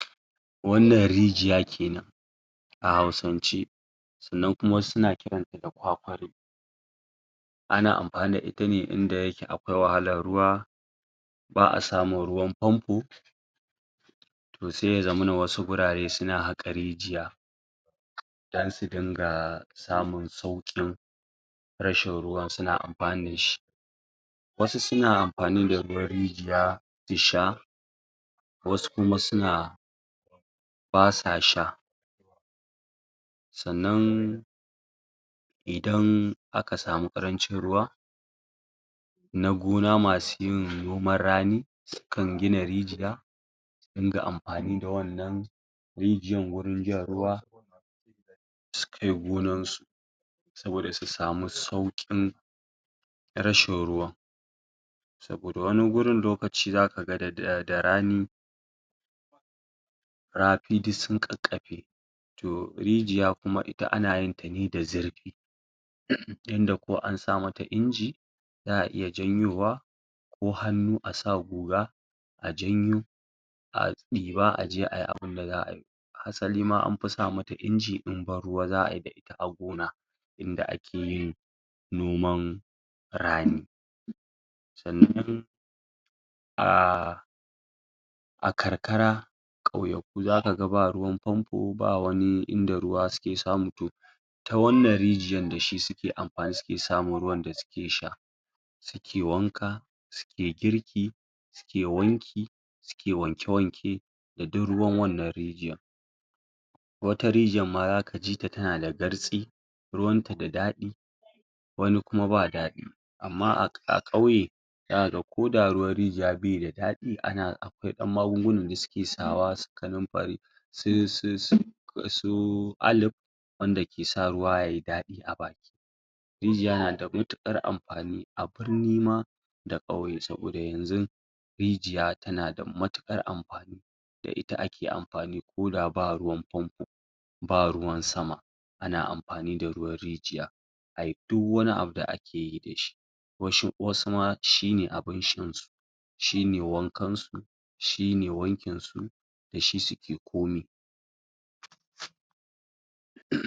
Wannan rijiya kenan a Hausance. Sannan kuma, wasu na ƙiranta da ƙwaƙwalo. Ana amfani da ita ne inda yake akwai wahalar ruwa, ba a samun ruwan pampo, to zai ya zamana wasu wurare suna haƙa rijiya, don su din ga samun sauƙin rashin ruwan, suna amfani dashi. Wasu su na amfani da ruwan rijiya sha wasu kuma su na ba sa sha. Sannan, idan aka samu ƙarancin ruwa, na gona masu yin noman rani, su kan gina rijiya, din ga amfani da wannan rijiyan wurin jan ruwa, su kai gonansu. saboda su samu sauƙin rashin ruwan. Saboda wani wurin lokaci za ka ga da[ um rani rafii duk su ƙaƙƙafe. To, rijiya kuma ita ana yin tane da zurfi, um inda ko ansa mata inji za a iya janyowa ko hannu a sa guga, a janyo a ɗiba aje ai abinda za'a yii. Hasali ma ,anfi sa mata inji in banruwa za ayi gona, idan ake yin noman rani. Sannan, um a karkara, ƙauyaku zaka ga ba ruwan pampo, ba wani inda ruwa suke samu to ta wannan rijiyar da shi suke amfani suke samun ruwan da suke sha su ke wanka, su ke girki, suke wanki, su ke wanke-wanke da duk ruwan wannan rijiyan. wata rijiyar ma zak jita tana da zartsi, ruwan ta da daɗi, wani kuma ba daɗi. Amma a um ƙauye, zaka ga ko da ruwan rijiya bai da daɗi, um akwai ɗan magungunan da suke sawa su kanumfari um su alip wanda ke sa ruwa yayi daɗi a baki. Rijiya na da matuƙar amfani. A birni ma da ƙauye, saboda yanzu rijiya tana matuƙar amfan da ita ake amfani ko da ba ruwan pampo, ba ruwan sama, ana amfani da ruwan rijiya ai duk wani abu da ake yi dashi. UM Wau ma shi ne abun shan su. shi ne wankansu shine wankinsu da shi suke komai. um